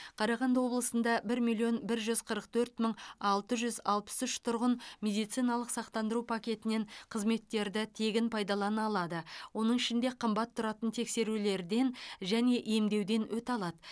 қарағанды облысында бір миллион бір жүз қырық төрт мың алты жүз алпыс үш тұрғын медициналық сақтандыру пакетінен қызметтерді тегін пайдалана алады оның ішінде қымбат тұратын тексерулерден және емдеуден өте алады